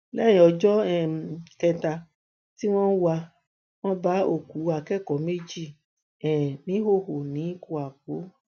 lẹyìn ọjọ um kẹta tí wọn ń wá wọn wọn bá òkú akẹkọọ méjì um níhòòhò ní kwapo